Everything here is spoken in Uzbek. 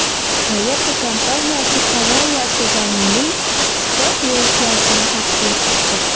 Toyota kompaniyasi Corolla sedanining sport versiyasini taqdim etdi.